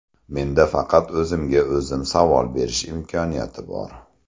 Menda faqat o‘zimga o‘zim savol berish imkoniyati bor.